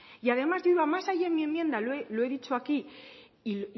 y además yendo a más allá en mi enmienda lo he dicho aquí y